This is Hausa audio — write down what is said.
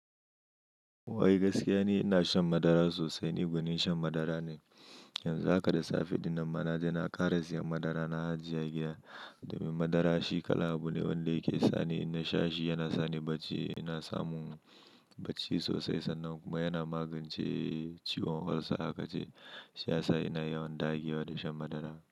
Wai gaskiya ne ina shan madara sosai, ni gwanin shan madara ne. Yanzu haka da safe dinnan ma naje na kara siyan madara na ajiye a giya. Domin madara shi kalan abu ne wanda yake sani in nasha shi yana sani bacci, yana samun bacci sosai sannan kuma yana magance ciwon olsa haka ce. Shi ya sa ina yawan dagewa da shan madara.